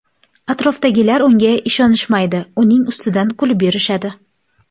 Atrofidagilar unga ishonishmaydi, uning ustidan kulib yurishadi.